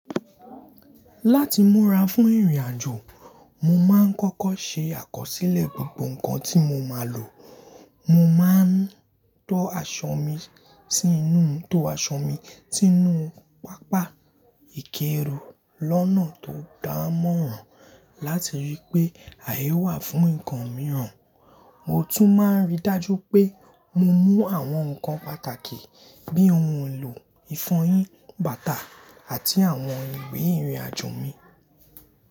Láti múra fún ìrìnàjò, mo máa ń kọ́kọ́ ṣe àkọsílẹ̀ gbogbo nǹkan tí mo máa lò. Mo máa ń to aṣọ mi sínú tó aṣọ mi sínú pápá ìkẹ́rù lọ́nà tó dá mọ́ràn láti ríi pé àyè wà fún nǹkan mìíràn. Mo tún máa ń rí dájú pé mo mú àwọn nǹkan pàtàkì bíi ohun èlò ìfọyín, bàtà àti àwọn ìwé ìrìnàjò mi.